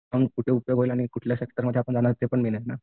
पण उपयोग होईल कुठल्या सेक्टरमध्ये जाणार ते पण मेन आहे ना.